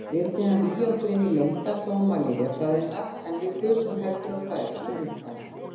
Vildi hann vígja okkur inní leyndardóma lyfjafræðinnar, en við kusum heldur að fræðast um munkana.